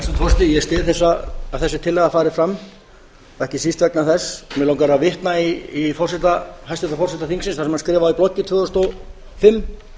ég styð að þessi tillaga fari fram og ekki síst vegna þess að mig langar að vitna í hæstvirtan forseta þingsins sem hann skrifaði í blogg tvö þúsund og fimm